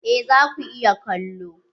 Eh za ku iya kallo.